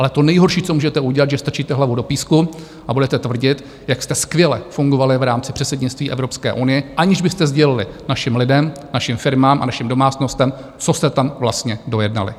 Ale to nejhorší, co můžete udělat, že strčíte hlavu do písku a budete tvrdit, jak jste skvěle fungovali v rámci předsednictví Evropské unie, aniž byste sdělili našim lidem, našim firmám a našim domácnostem, co jste tam vlastně dojednali.